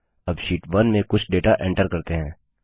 अब शीट 1 में कुछ डेटा एंटर करते हैं